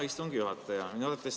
Hea istungi juhataja!